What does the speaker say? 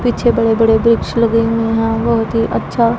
पीछे बड़े बड़े वृक्ष लगे हुए हैं बहुत ही अच्छा--